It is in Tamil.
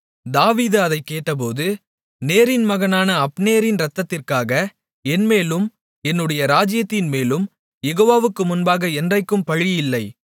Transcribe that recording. தாவீது அதைக் கேட்டபோது நேரின் மகனான அப்னேரின் இரத்தத்திற்காக என்மேலும் என்னுடைய ராஜ்ஜியத்தின் மேலும் யெகோவாவுக்கு முன்பாக என்றைக்கும் பழியில்லை